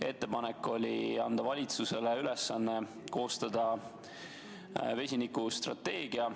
Ettepanek oli anda valitsusele ülesanne koostada vesinikustrateegia.